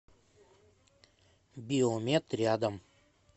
биомед рядом